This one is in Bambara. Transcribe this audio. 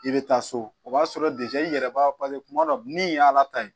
I bɛ taa so o b'a sɔrɔ i yɛrɛ b'a dɔn paseke kuma dɔ min y'ala ta ye